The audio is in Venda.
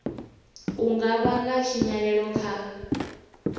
u nga vhanga tshinyalelo kha